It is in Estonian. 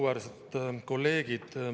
Auväärsed kolleegid!